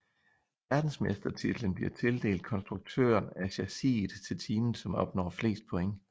Verdensmestertitlen bliver tildelt konstruktøren af chassiset til teamet som opnår flest point